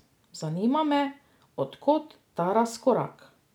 Zanima me, od kod ta razkorak?